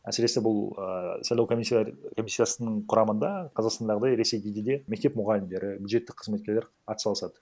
әсіресе бұл ііі сайлау комиссия комиссиясының құрамында қазақстандағыдай ресейде де мектеп мұғалімдері бюджеттік қызметкерлер атсалысады